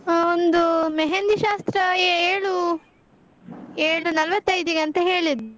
ಅಹ್ ಒಂದು मेहंदी ಶಾಸ್ತ್ರ ಏಳು, ಏಳು ನಲ್ವತೈದಿಗಂತ ಹೇಳಿದ್ಲು.